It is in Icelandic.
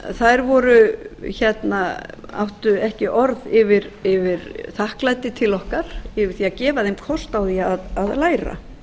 þær áttu ekki orð yfir þakklæti til okkar yfir því að gefa þeim kost á því að læra